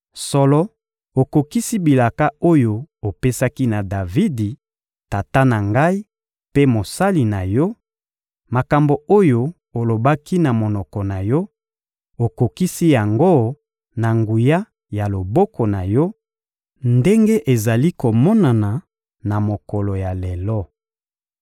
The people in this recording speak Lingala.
Solo, okokisi bilaka oyo opesaki na Davidi, tata na ngai mpe mosali na Yo; makambo oyo olobaki na monoko na Yo, okokisi yango na nguya ya loboko na Yo, ndenge ezali komonana na mokolo ya lelo.